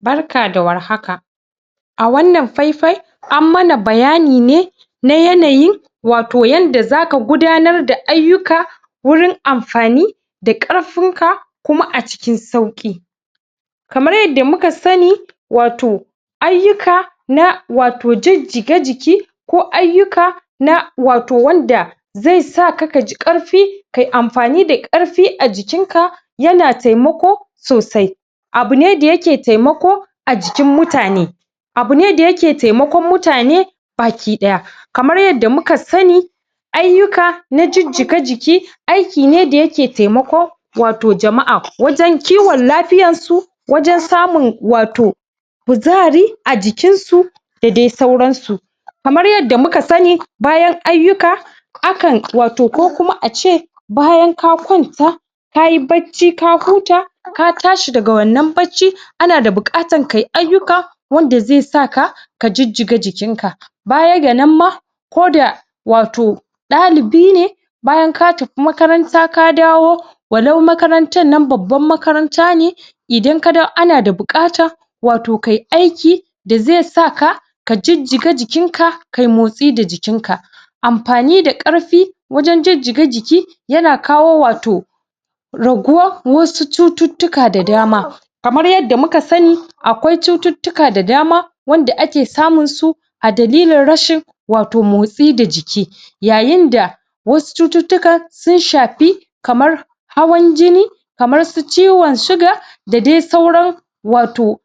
Barka da warhaka a wannan faifai am mana bayani ne na yanayi wato yadda zaka gudanar da ayyuka wurin amfani da da ƙarfinka kuma a cikin sauƙi kamar yadda muka sani wato ayyuka na wato jijjiga jiki ko ayyuka na wato wanda zai sa ka ka ji ƙarfi kai amfani da ƙarfi a jikinka yana taimako sosai abu ne da yake taimako a jikin mutane abu ne da yake taimakon mutane baki ɗaya kamar yadda muka sani ayyuka na jijjiga jiki aiki ne da yake taimako wato jama' a wajen kiwon lafyarsu wajen samun wato kuzari a jikinsu da dai sauransu kamar yadda muka sani bayan ayyuka akan wato ko kuma ace bayan ka kwanta ka yi bacci ka huta ka tashi daga wannan bacci ana da buƙatar kai ayyuka wanda zai saka ka jijjiga jikinka baya ga nan ma koda wato ɗalibi ne bayan ka tafi makaranta ka dawo wannan makarantar nan babbar makaranta ne idan ka ana da buƙatar wato kai aiki da zai saka ka jijjiga jikinka kai motsi da jikinka amfani da ƙarfi wajen jijjiga jiki yana kawo wato raguwa wasu cututtuka da dama kamar yadda muka sani akwai cututtua da dama wanda ake samunsu a dalilin rashin wato mosti da jiki yayinda wasu cututtukan sun shafi kamar hawan jini kamar su ciwon Suga da dai sauran wato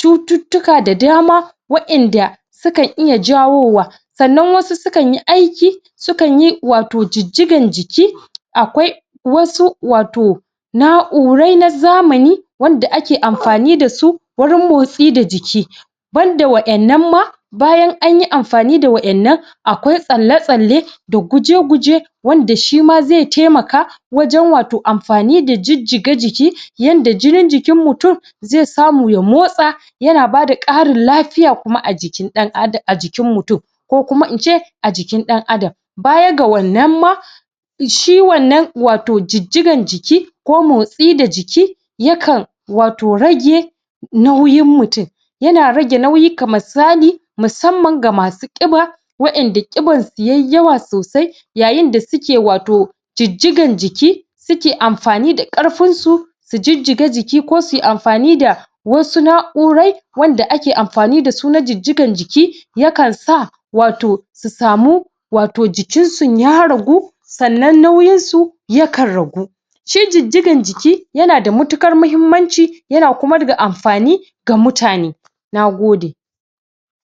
cututtuka da dama wa'yanda sukan iya jawowa sannan wasu sukan yi aiki sukan yi wato jijjigan jiki akwai wasu wato na'urai na zamani wanda ake amfani da su wurin motsi da jiki banda waɗannan ma bayan an yi amfani da wa'yannan akwai tsalle-tsalle da guje-guje wanda shi ma zai taimaka wajen wato amfani da jijjiga jiki yadda jinin jikin mutum zai samu ya mosta yana bada ƙarin lafiya kuma a jikin ɗan adam jikin mutum ko kuma in ce a jikin ɗan adam baya ga wannan ma shi wannan wato jijjigan jiki ko motsi da jiki yakan wato rage nauyin mutum yana rage nauyi misali musamman ga masu ƙiba wa'yanda ƙibarsu yai yawa sosai yayinda suke wato jijjigan jiki suke amfani da ƙarfinsu su jijjaga jiki ko sui amfani da wasu na'urai wanda ake amfani da su na jijjigan jiki yakansa wato su samu jikinsu ya ragu sannan nauyinsu yakan ragu shi jijjigan jiki yana da mutuƙar muhimmanci yana kuma ga amfani ga mutane. Na gode.